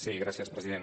sí gràcies president